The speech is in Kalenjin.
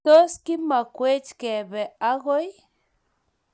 tos kimekwech kebe agoi?